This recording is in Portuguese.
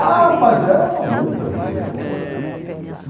Ah, mas era uma luta violenta.